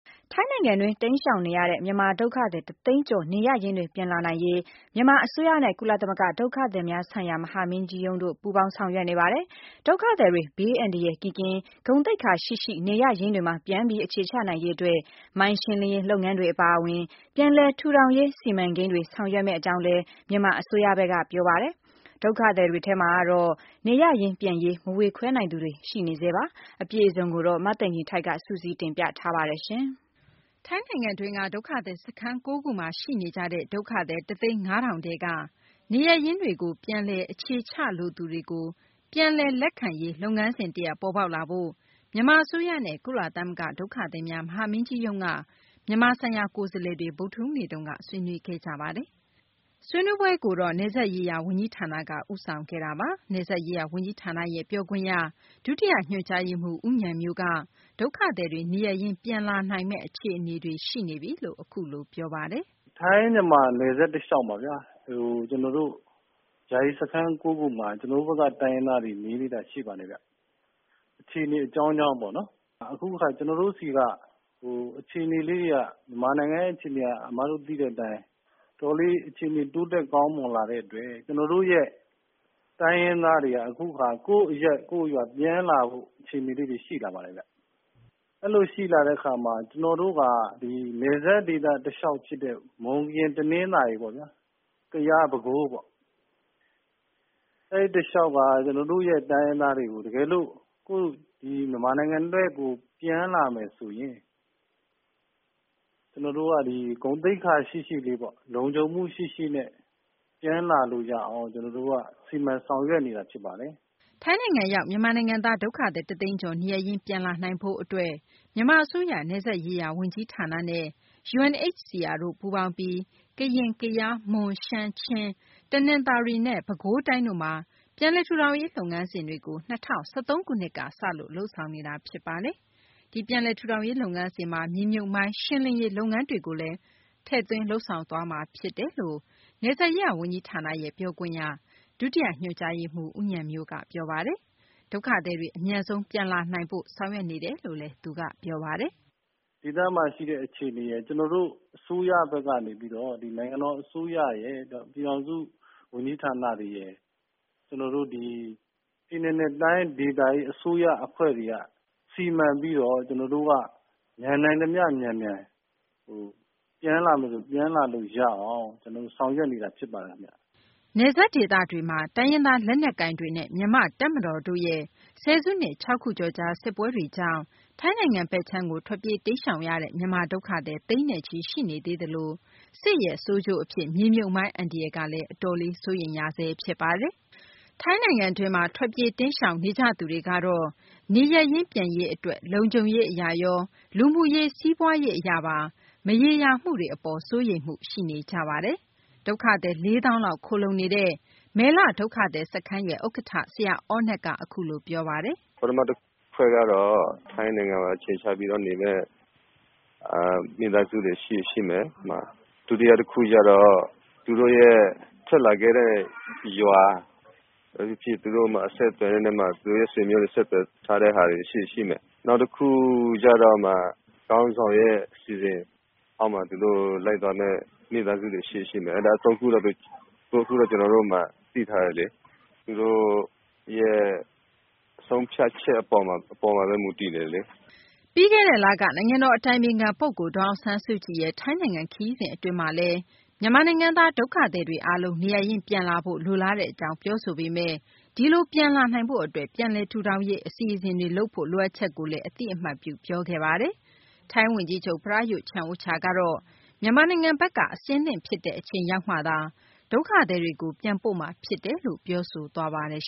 ထိုင်းနိုင်ငံတွင်း တိမ်းရှောင်နေရတဲ့ မြန်မာ ဒုက္ခသည် ၁ သိန်းကျော် နေရပ်ရင်းတွေ ပြန်လာနိုင်ရေး မြန်မာ အစိုးရနဲ့ ကုလ ဒုက္ခသည်များဆိုင်ရာ မဟာမင်းကြီးရုံးတို့ ပူးပေါင်းဆောင်ရွက်နေပါတယ်။ ဒုက္ခသည်တွေ ဘေးအန္တရာယ် ကင်းကင်း၊ ဂုဏ်သိက္ခာရှိရှိ နေရပ်ရင်းတွေမှာ ပြန်ပြီး အခြေချနိုင်ရေး အတွက် မိုင်းရှင်းလင်းရေး လုပ်ငန်းတွေ အပါအဝင်ပြန်လည် ထူထောင်ရေး စီမံကိန်းတွေ ဆောင်ရွက်မယ့် အကြောင်းလည်း မြန်မာ အစိုးရဘက် က ပြောပါတယ်။ ဒုက္ခသည်တွေထဲမှာတော့ နေရပ်ရင်း ပြန်ရေး မဝေခွဲနိုင်သူတွေ ရှိနေပါတယ်။မသိင်္ဂၤ ီထိုက် စုစည်းတင်ပြထားပါတယ်။ ထိုင်းနိုင်ငံတွင်းက ဒုက္ခသည် စခန်း ၉ ခုမှာ ရှိနေကြတဲ့ ဒုက္ခသည် ၁ သိန်း ၅ ထောင်ထဲက နေရပ်ရင်းတွေကို ပြန်လည်အခြေချလိုသူတွေ အတွက် နေရပ်ရင်းတွေမှာ ပြန်လည် လက်ခံနိုင်ရေး လုပ်ငန်းစဉ် တရပ် ပေါ်ပေါက်လာဖို့ မြန်မာ အစိုးရနဲ့ ကုလ သမဂ္ဂ ဒုက္ခသည်များ မဟာမင်းကြီးရုံး က မြန်မာဆိုင်ရာ ကိုယ်စားလှယ်တွေ ဗုဒ္ဓဟူးနေ့မှာ ဆွေးနွေး ခဲ့ကြတာပါ။ ဆွေးနွေးပွဲကိုတော့ နယ်စပ်ရေးရာဝန်ကြီးဌာနက ဦးဆောင်ခဲ့ တာပါ။နယ်စပ်ရေးရာဝန်ကြီးဌာနရဲ့ ပြောခွင့်ရ ဒုတိယ ညွှန်ကြားရေးမှူး ဦးဉာဏ်မျိုးက ဒုက္ခသည်တွေ နေရပ်ရင်း ပြန်လာနိုင်မယ့် အခြေအနေတွေ ရှိနေပြီလို့ ပြောဆိုပါတယ်။ “ထိုင်းမြန်မာနယ်စပ်တလျှောက်မှာဗျာ ကျနော်တို့ ယာယီစခန်း ၉ ခုမှာ ကျနော် တို့ဘက် က တိုင်းရင်းသားတွေ နေသေးတာရှိပါတယ်ခင်ဗျ။ အခြေအနေ အကြောင်းကြောင်းပေါ့နော် အခုကျနော်တို့ဆီက မြန်မာနိုင်ငံရဲ့အခြေအနေတွေက အမတို့သိတဲ့အတိုင်း တော်တော်လေးကောင်းမွန်လာတဲ့အတွက် ကျနော်တို့ရဲ့တိုင်းရင်းသားတွေက အခုအခါ ကိုယ့်အရပ်၊ ကိုယ့်ရွာပြန်လာဖို့ အခြေအနေလေးတွေရှိလာပါတယ်ခင်ဗျ။ အဲလိုရှိလာတဲ့အခါမှာ ကျနော်တို့က နယ်စပ်ဒေသတလျှောက်ဖြစ်တဲ့ မွန်၊ ကရင်၊ တနင်္သာရီ ၊ ကယား၊ ပဲခူးပေါ့ အဲဒီတလျှောက်က ကျနော်တို့ရဲ့တိုင်းရင်းသားတွေကို တကယ်လို့ မြန်မာနိုင်ငံ ဘက်ကို ပြန်လာမယ်ဆိုရင် ကျနော်တို့က ဂုဏ်သိက္ခာရှိရှိလေး၊ လုံခြုံမှုရှိရှိနဲ့ ပြန်လာလို့ရအောင် ကျနော်တို့က စီမံဆောင်ရွက်နေတာဖြစ်ပါတယ်။” ထိုင်းနိုင်ငံရောက် မြန်မာနိုင်ငံသား ဒုက္ခသည် တသိန်းကျော် နေရပ်ရင်း ပြန်လာနိုင်ရေး အတွက် မြန်မာ အစိုးရ နယ်စပ်ရေးရာ ဝန်ကြီးဌာနနဲ့ UNHCR တို့ ပူးပေါင်းပြီးကရင်၊ ကယား၊ မွန်၊ ရှမ်း၊ ချင်း ၊ တနသာၤရီနဲ့ ပဲခူးတိုင်းတို့မှာ ပြန်လည်ထူထောင်ရေး လုပ်ငန်းစဉ်တွေကို ၂၀၁၃ ခုနှစ်က စလို့ စတင်လုပ်ဆောင်နေတာ ဖြစ်ပါတယ်။ ဒီပြန်လည်ထူထောင်ရေး လုပ်ငန်းစဉ် မှာ မြေမြုပ်မိုင်း ရှင်းလင်းရေး လုပ်ငန်းကိုလည်း ထည့်သွင်းလုပ်ဆောင် သွားမှာ ဖြစ်တယ်လို့ နယ်စပ်ရေးရာဝန်ကြီးဌာနရဲ့ ပြောခွင့်ရ ဒုတိယ ညွှန်ကြားရေးမှူး ဦးဉာဏ်မျိုးက ပြောပါတယ်။ ဒုက္ခသည်တွေ အမြန်ဆုံး ပြန်လာနိုင်ဖို့ ဆောင်ရွက်နေတယ်လို့ ပြောပါတယ်။ “ဒေသမှာရှိတဲ့အခြေအနေရယ် ကျနော်တို့ အစိုးရဘက် ကနေပြီးတော့ နိုင်ငံတော်အစိုးရရယ်၊ ပြည်ထောင်စု ဝန်ကြီးဌာနတွေရယ် ကျနော်တို့ဒီ ပြည်နယ်နဲ့တိုင်းဒေသကြီးအစိုးရအဖွဲတွေက စီမံပြီးတော့ ကျနော်တို့က မြန်နိုင်သမျှ မြန်မြန် ပြည်လာမယ်ဆိုရင်၊ ပြန်လာလို့ရအောင် ကျနော်တို့ဆောင်ရွက်နေတာဖြစ်ပါတယ်ခင်ဗျ။” နယ်စပ်ဒေသတွေက တိုင်းရင်းသား လက်နက်ကိုင်တွေနဲ့ မြန်မာ့ တပ်မတော်တို့ရဲ့ ဆယ်စုနှစ် ၆ ခုကျော်ကြာ စစ်ပွဲတွေကြောင့် ထိုင်းနိုင်ငံဘက်ခြမ်းကို ထွက်ပြေး တိမ်းရှောင်ရတဲ့ မြန်မာ ဒုက္ခသည်တွေ သိန်းနဲ့ချီ ရှိနေသလို စစ်ရဲ့ ဆိုးကျိုးအဖြစ် မြေမြုပ်မိုင်း အန္တရာယ်ကလည်း အတော်လေး စိုးရိမ်ရဆဲ ဖြစ်ပါတယ်။ ထိုင်းနိုင်ငံတွင်းမှာ ထွက်ပြေးတိမ်းရှောင်နေကြသူတွေကတော့ နေရပ်ရင်း ပြန်ရေး အတွက် လုံခြုံရေး အရရော လူမှုရေး စီးပွားရေး အရပါ မရေရာမှုတွေ ရှိနေဆဲပါ။ ဒုက္ခသည် ၄ သောင်းလောက် ခိုလှုံနေတဲ့ မယ်လ ဒုက္ခသည် စခန်း ဥက္ကဌ ဆရာ အောနက် ကတော့ အခုလို ပြောပါတယ်။ “ပထမတဖွဲ့ကတော့ ထိုင်းနိုင်ငံမှာ အခြေချနေမယ့် မိသားစုတွေရှိရင်ရှိမယ်။ ဒုတိယတခုကျတော့ သူတို့ရဲ့ ထွက်လာခဲ့တဲ့ရွာ ဘာပဲဖြစ်ဖြစ် သူတို့ဆွေမျိုးတွေကနေ ဆက်သွယ်ထားတာတွေ ရှိရင် ရှိမယ်။ နောက်တခုကျတော့ ခေါင်းဆောင်ရဲ့အစီအစဉ် အောက်မှာ သူတို့ လိုက်သွားမယ့် မိသားစုတွေရှိရင်ရှိမယ်။ အဲဒါ ၃ ခုလောက်ပဲ ကျနော်တို့ သိထားတယ်လေ။ သူတို့ရဲ့ဆုံးဖြတ်ချက်အပေါ်မှာပဲ မူတည်တယ်လေ။” ပြီးခဲ့တဲ့ လက နိုင်ငံတော် အတိုင်ပင်ခံ ပုဂ္ဂိုလ် ဒေါ်အောင်ဆန်းစုကြည်ရဲ့ ထိုင်းနိုင်ငံ ခရီးစဉ် အတွင်းမှာလည်း မြန်မာနိုင်ငံသား ဒုက္ခသည်တွေ အားလုံး နေရပ်ရင်း ပြန်လာဖို့ လိုလားတဲ့ အကြောင်း ပြောဆိုပေမယ့် ဒီလို ပြန်လာနိုင်ဖို့ အတွက် ပြန်လည်ထူထောင်ရေး အစီအစဉ်တွေ လုပ်ဖို့ လိုအပ်ချက်ကိုလည်း အသိအမှတ်ပြု ပြောခဲ့ပါတယ်။ ထိုင်းဝန်ကြီးချုပ် ပရာယုဒ် ချန်အိုချာကတော့ မြန်မာနိုင်ငံဘက်က အဆင်သင့် ဖြစ်တဲ့ အချိန်ရောက်မှသာ ဒုက္ခသည်တွေကို ပြန်ပို့မှာ ဖြစ်တယ်လို့ ပြောဆိုထားပါတယ်